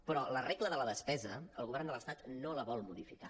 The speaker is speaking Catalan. però la regla de la despesa el govern de l’estat no la vol modificar